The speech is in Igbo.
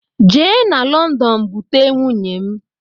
Je na london bute nwunye m!